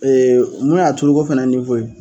mun y'a tulu ko fɛnɛ ye